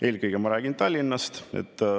Eelkõige ma räägin Tallinnast.